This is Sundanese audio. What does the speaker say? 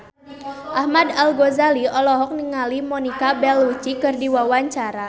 Ahmad Al-Ghazali olohok ningali Monica Belluci keur diwawancara